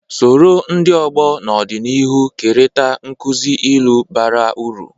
Soro ndị ọgbọ n’ọdịnihu kerịta nkuzi ilu bara uru.